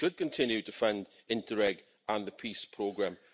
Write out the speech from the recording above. We should continue to fund Interreg and the PEACE Programme.